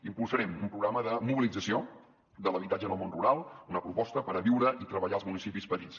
impulsarem un programa de mobilització de l’habitatge en el món rural una proposta per viure i treballar als municipis petits